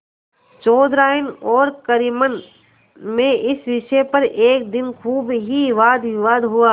चौधराइन और करीमन में इस विषय पर एक दिन खूब ही वादविवाद हुआ